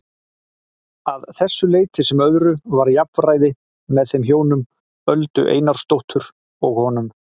Að þessu leyti sem öðru var jafnræði með þeim hjónum, Öldu Einarsdóttur og honum.